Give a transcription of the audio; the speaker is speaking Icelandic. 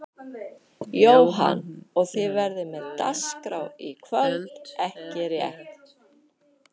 Jóhann: Og þið verðið með dagskrá í kvöld ekki rétt?